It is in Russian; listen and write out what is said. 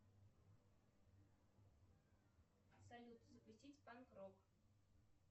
салют запустить панк рок